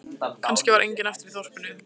Kannski var enginn eftir í þorpinu.